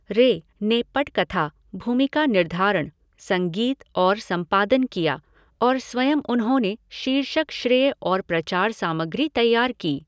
रे ने पटकथा, भूमिका निर्धारण, संगीत और संपादन किया, और स्वयं उन्होंने शीर्षक श्रेय और प्रचार सामग्री तैयार की।